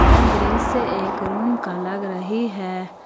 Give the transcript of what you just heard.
यह दृश्य एक रूम का लग रही है।